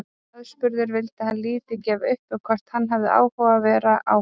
Aðspurður vildi hann lítið gefa upp um hvort hann hefði áhuga á að vera áfram.